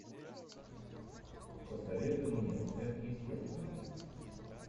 посоветуй мне сверхъестественное